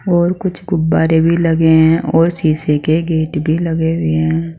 और कुछ गुब्बारे भी लगे हैं और शीशे के गेट भी लगे हुए हैं।